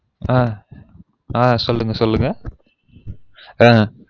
ஆஹ் ஆஹ் சொல்லுங்க சொல்லுங்க ஆஹ்